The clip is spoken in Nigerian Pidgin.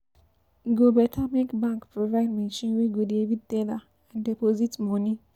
E go better make bank provide machine wey go dey read teller and deposit monie.